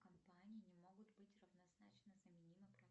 компании не могут быть равнозначно заменимы